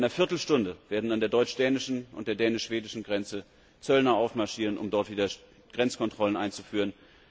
In einer Viertelstunde werden an der deutsch dänischen und der dänisch schwedischen Grenze Zöllner aufmarschieren, um dort wieder Grenzkontrollen einzuführen.